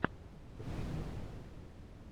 поищи мармока